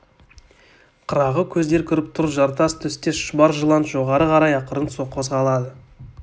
қырағы көздер көріп тұр жартас түстес шұбар жылан жоғары қарай ақырын қозғалады